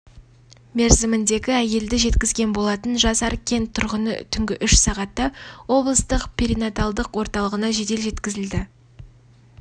мерзіміндегі әйелді жеткізген болатын жасар кент тұрғыны түнгі үш сағатта облыстық перинаталдық орталығына жедел жеткізілді